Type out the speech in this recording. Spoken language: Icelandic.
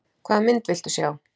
Hvaða mynd viltu sjá?